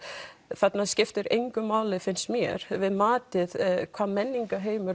þarna skiptir engu máli finnst mér við matið hvaða menningarheimur